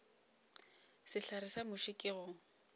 sehlare sa muši ke go